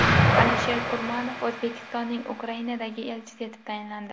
Alisher Kurmanov O‘zbekistonning Ukrainadagi elchisi etib tayinlandi.